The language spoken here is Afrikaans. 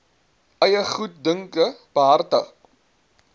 eie goeddunke behartig